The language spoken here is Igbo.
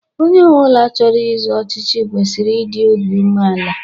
Onye ọbụla chọrọ izọ ọchịchị kwesịrị idi obi umeala.